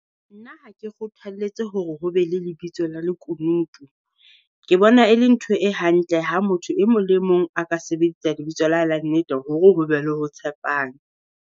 Nna ha ke kgothaletse hore ho be le lebitso la lekunutu. Ke bona e le ntho e hantle ha motho e mong le mong a ka sebedisa lebitso la hae la nnete hore ho be le ho tshepana.